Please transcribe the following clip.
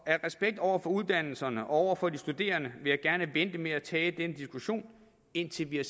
af respekt over for uddannelserne og over for de studerende vil jeg gerne vente med at tage den diskussion indtil vi har